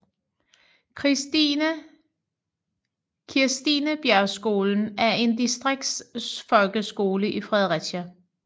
Kirstinebjergskolen er en distriktsfolkeskole i Fredericia